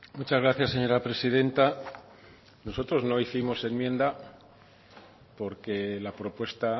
muchas gracias señora presidenta nosotros no hicimos enmienda porque la propuesta